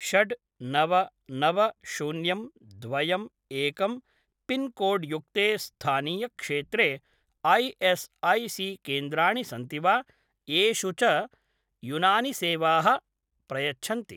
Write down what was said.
षड् नव नव शून्यं द्वयम् एकं पिन्कोड्युक्ते स्थानीयक्षेत्रे ऐ एस् ऐ सी केन्द्राणि सन्ति वा येषु च युनानिसेवाः प्रयच्छन्ति